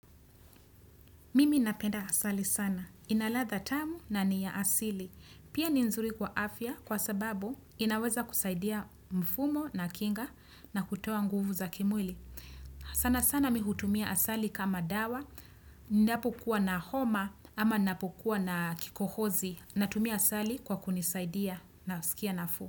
Mimi napenda asali sana. Ina ladha tamu na ni ya asili. Pia ni nzuri kwa afya kwa sababu inaweza kusaidia mfumo na kinga na kutoa nguvu za kimwili. Sana sana mihutumia asali kama dawa. Ninapokua na homa ama ninapokua na kikohozi. Natumia asali kwa kunisaidia nasikia nafuu.